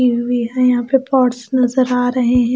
यहां पे पॉट्स नजर आ रहे हैं ।